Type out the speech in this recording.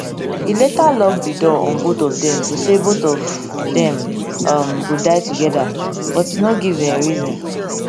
e later lock di door on both of dem to say both of dem um go dia togeda but e no give um reason